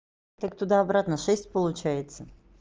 так туда обратно шесть получается